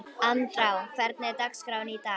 Andrá, hvernig er dagskráin í dag?